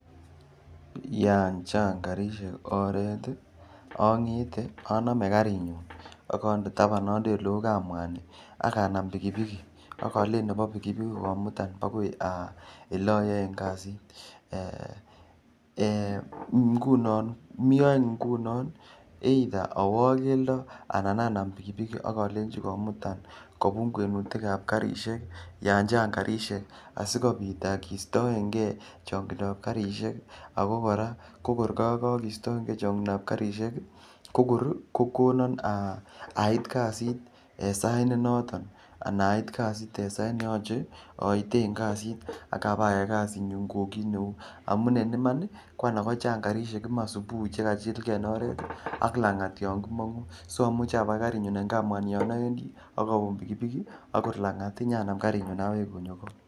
Yan chang' karishek oret i, ang'ete, aname karinyun akandr tapan, andae ole u kamwani ak anam pikipikit ak alechi nepo pikipikit komutan akoi ole ayaen kasit. Mi any nguno either awa ak keldo anan anam pikipiki ak alenchi komutan kopun kwenushek ap karishek yan chang' karishek asikopit keistaen ge chong'indo ap karishek ako kora ko kor kakaeista chang'indo ap karishek ko kora kor kokona ait kasit eng' sait ne noton anan ait kasit eng' sait ne yache aiten eng' kasit ak ipayai kasitnyu kou kiit neu. Amu en iman ko anan ko chang' karishek subuhi che kachilgei eng' oret ak lang'at yan ki mang'u So amuchi apakan karinyu en kamwan yan awendi ak kor lang'at inyanam karinyun aweku ko.